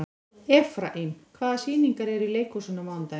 Efraím, hvaða sýningar eru í leikhúsinu á mánudaginn?